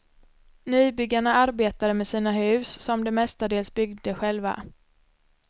Nybyggarna arbetade med sina hus, som de mestadels byggde själva.